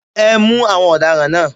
Ẹ mú àwọn ọ̀daràn náà.